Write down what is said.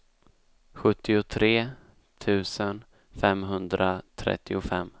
sjuttiotre tusen femhundratrettiofem